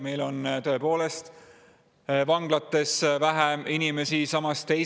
Meil on tõepoolest vähem inimesi vanglates.